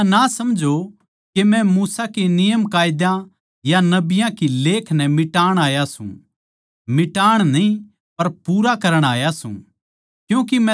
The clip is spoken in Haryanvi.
या ना समझो के मै मूसा के नियमकायदा या नबियाँ की लेख नै मिटाण आया सूं मिटाण न्ही पर पूरा करण आया सूं